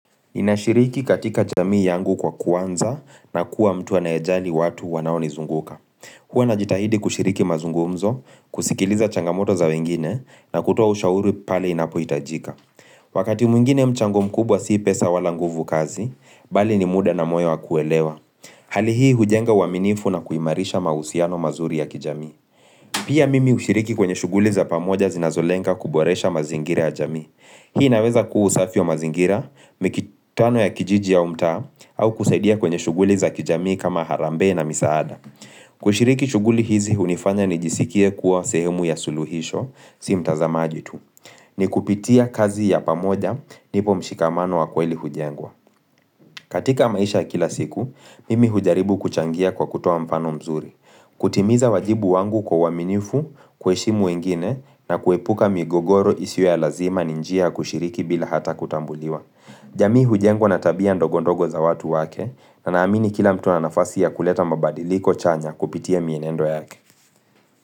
Ninashiriki katika jamii yangu kwa kuanza na kuwa mtu anayejali watu wanaonizunguka. Huwa najitahidi kushiriki mazungumzo, kusikiliza changamoto za wengine na kutoa ushauri pale inapohitajika. Wakati mwingine mchango mkubwa si pesa wala nguvu kazi, bali ni muda na moyo wa kuelewa. Hali hii hujenga uaminifu na kuimarisha mahusiano mazuri ya kijamii. Pia mimi hushiriki kwenye shughuli za pamoja zinazolenga kuboresha mazingira ya jamii. Hii naweza kuwa usafi wa mazingira, mikitano ya kijiji au mtaa, au kusaidia kwenye shughuli za kijamii kama harambee na misaada. Kushiriki shughuli hizi hunifanya nijisikie kuwa sehemu ya suluhisho, si mtazamaji tu. Ni kupitia kazi ya pamoja, ndipo mshikamano wa kweli hujengwa. Katika maisha ya kila siku, mimi hujaribu kuchangia kwa kutoa mfano mzuri. Kutimiza wajibu wangu kwa uaminifu, kuheshimu wengine na kuepuka migogoro isiwe ya lazima ni njia kushiriki bila hata kutambuliwa jamii hujengwa na tabia ndogondogo za watu wake na naamini kila mtu ana nafasi ya kuleta mabadiliko chanya kupitia mienendo yake.